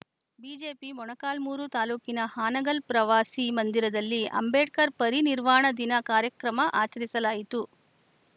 JPG Molakalmuru ತಾಲೂಕಿನ ಹಾನಗಲ್‌ ಪ್ರವಾಸಿ ಮಂದಿರದಲ್ಲಿ ಅಂಬೇಡ್ಕರ್‌ ಪರಿನಿರ್ವಾಣ ದಿನ ಕಾರ್ಯಕ್ರಮ ಆಚರಿಸಲಾಯಿತು